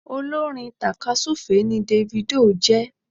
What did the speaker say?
Olórin takasufe ni Davido jé